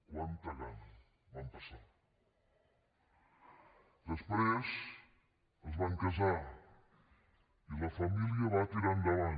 quanta gana van passar després es van casar i la família va tirar endavant